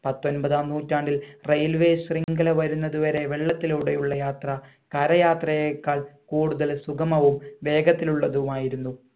പത്തൊൻപതാം നൂറ്റാണ്ടിൽ railway ശൃംഖല വരുന്നത് വരെ വെള്ളത്തിലൂടെ ഉള്ള യാത്ര കര യാത്രയേക്കാൾ കൂടുതൽ സുഗമവും വേഗത്തിലുള്ളതുമായിരുന്നു